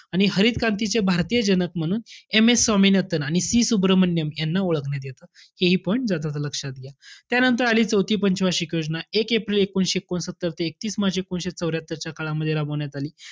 आणि हरित क्रांतीचे भारतीय जनक म्हणून M. S स्वामिनाथन आणि C सुब्रमण्यम यांना ओळखण्यात येतं. हेहि पण जाता-जाता लक्षात घ्या. त्यानंतर आली चौथी पंच वार्षिक योजना. एक एप्रिल एकोणीसशे एकोणसत्तर ते एकतीस मार्च एकोणीसशे चौर्यात्तरच्या काळामध्ये राबवण्यात आली.